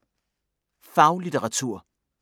Faglitteratur